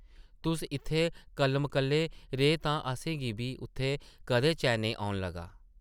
तुस इत्थै कल्ल-मकल्ले रेह् तां असें गी बी उत्थै कदें चैन नेईं औन लगा ।